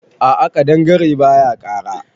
A'a kaɗangare baya kara.